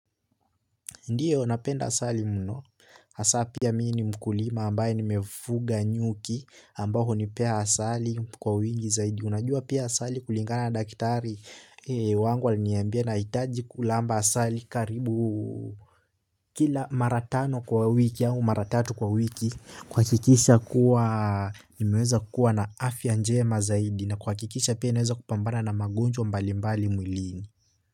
Ndiyo, napenda asali mno. Hasa pia mii ni mkulima ambaye nimefuga nyuki ambao hunipea asali kwa wingi zaidi. Unajua pia asali kulingana na daktari wangu aliniambia nahitaji kulamba asali karibu. Kila mara tano kwa wiki yangu mara tatu kwa wiki kuhakikisha kuwa nimeweza kuwa na afya njema zaidi. Na kuhakikisha pia inaweza kupambana na magonjwa mbalimbali mwili.